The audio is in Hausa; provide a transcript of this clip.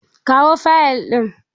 Kawo fayil ɗin!